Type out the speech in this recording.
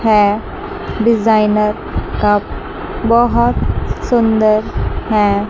है designer cup बहोत सुंदर है।